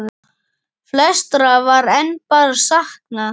Flestra var enn bara saknað.